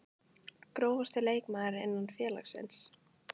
Grófasti leikmaður innan félagsins?